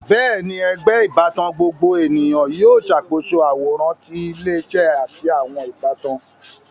Bẹẹni, ẹgbẹ ìbátan gbogbo ènìyàn yóò ṣàkóso àwòrán ti ilé-isé àti àwọn ìbátan